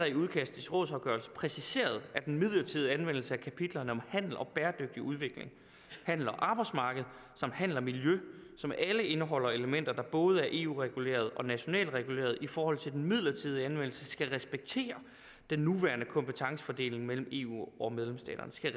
i udkastet til rådsafgørelse præciseret at den midlertidige anvendelse af kapitlerne om handel og bæredygtig udvikling handel og arbejdsmarked samt handel og miljø som alle indeholder elementer der både er eu regulerede og nationalt regulerede i forhold til en midlertidig anvendelse skal respektere den nuværende kompetencefordeling mellem eu og medlemsstaterne skal